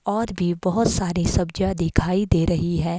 और भी बहुत सारी सब्जियां दिखाई दे रही हैं।